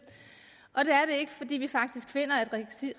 ikke fordi vi faktisk finder at